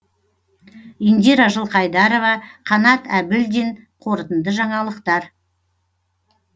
индира жылқайдарова қанат әбілдин қорытынды жаңалықтар